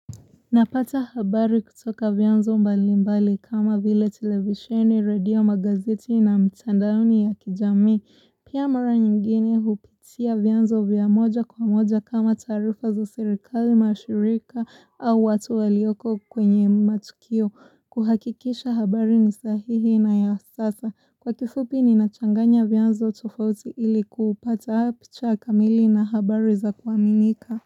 Napata habari kutoka vyanzo mbali mbali kama vile televishini, radio, magazeti na mtandao ya kijamii. Pia mara nyingine hupitia vyanzo vya moja kwa moja kama tarifa za sirikali, mashirika au watu walioko kwenye matukio. Kuhakikisha habari ni sahihi na ya sasa. Kwa kifupi ni nachanganya vyanzo tofauti ili kupata picha kamili na habari za kuaminika.